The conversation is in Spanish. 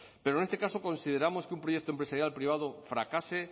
pero en este caso consideramos que un proyecto empresarial privado fracase